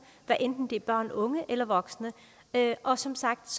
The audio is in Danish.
hvad enten det er børn unge eller voksne og som sagt